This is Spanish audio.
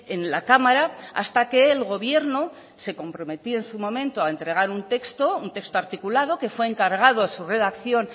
en la cámara hasta que el gobierno se comprometió en su momento a entregar un texto un texto articulado que fue encargado su redacción